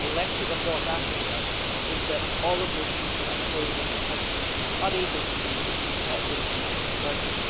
The lesson of North Africa is that all of those people are pouring into countries unable to deal with the burden.